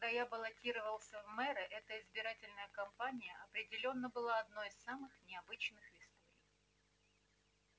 когда я баллотировался в мэры эта избирательная компания определённо была одной из самых необычных в истории